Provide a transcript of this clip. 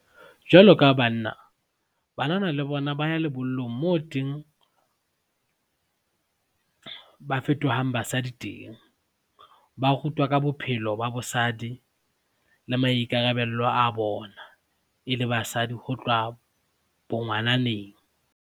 Jwalo ka banna, banana le bona ba ya lebollong moo teng ba fetohang basadi teng. Ba rutwa ka bophelo ba bosadi le maikarabello a bona e le basadi ho tloha bongwananeng.